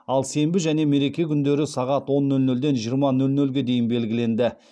ал сенбі және мереке күндері сағат он нөл нөлден жиырма нөл нөлге дейін белгіленді